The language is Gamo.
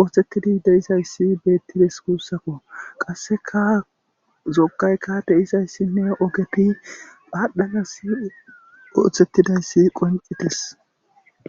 ooththettidi deizayssi beettides kuussakko qasseka zogaykka deyizayssinne ogepi paadhanas ooththettidayssi qoncites